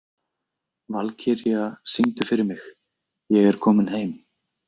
Valkyrja, syngdu fyrir mig „Ég er kominn heim“.